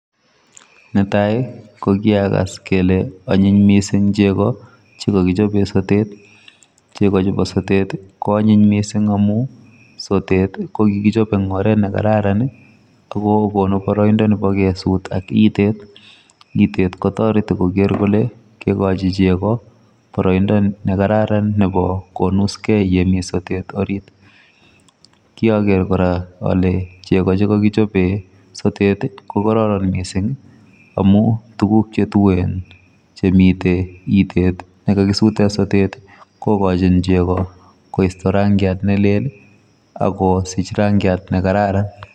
Netai kokiakas kele onyin missing chego chekokichopen sotet. Chego chubo sotet ko anyin missing amun sotet kokikichop en oret nekararan ako konu boroindo nebo kesut ak itet, itet kotoreti koker kole koikochi chego boroindo nekararan nebo konuskei yemi sotet orit. Kioker kora kole chego chekokichebei sotet ko kororon missing amun tuguk chetuen chemiten itet chekokisuten sotet kokochin chego koisto rangiat nelel akosich rangiat nekararan.